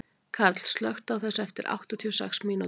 Karl, slökktu á þessu eftir áttatíu og sex mínútur.